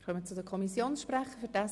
Wir kommen zu den Kommissionssprechern.